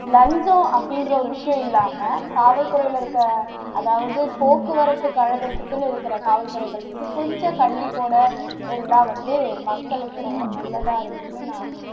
லஞ்சம் அப்படின்ற ஒரு விஷயம் இல்லாம காவல் துறைல இருக்க அதாவது போக்குவரத்து கழகத்துக்குன்னு இருக்கிற காவல் துறைகள் வந்து கொஞ்சம் கண்டிப்போட இருந்தா வந்து மக்களுக்கு ரொம்ப நல்லதா இருக்கும்னு நான்